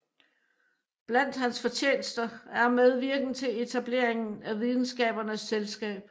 Blandt hans fortjenester er medvirken til etableringen af Videnskabernes Selskab